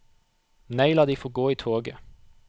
Nei, la de få gå i toget.